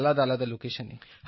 আলাদা আলাদা লোকেশনে